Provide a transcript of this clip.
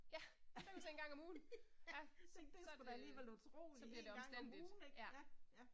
Ja, det er vist én gang om ugen. Så er det, så bliver det omstændigt ja